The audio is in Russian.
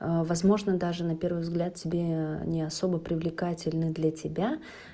возможно даже на первый взгляд тебе не особо привлекательно для тебя